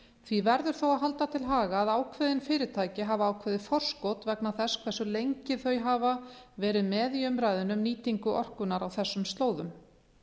því verður þó að halda til haga að ákveðin fyrirtæki hafa ákveðið forskot vegna þess hversu lengi þau hafa verið með í umræðunni um nýtingu orkunnar á þessum slóðum